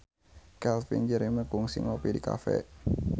Calvin Jeremy kungsi ngopi di cafe